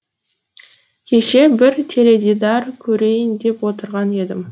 кеше бір теледидар көрейін деп отырған едім